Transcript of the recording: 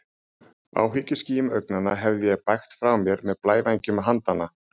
Áhyggjuskýjum augnanna hefði ég bægt frá með blævængjum handanna.